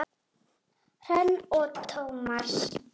Hrönn og Tómas.